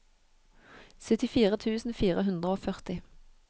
syttifire tusen fire hundre og førti